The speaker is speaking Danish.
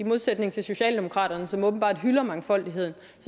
modsætning til socialdemokratiet som åbenbart hylder mangfoldigheden